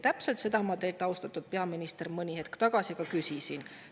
" Täpselt seda ma teilt, austatud peaminister, mõni hetk tagasi küsisin.